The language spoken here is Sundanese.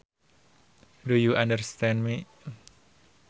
Do you understand me